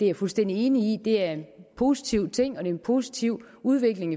er fuldstændig enig i det er en positiv ting og en positiv udvikling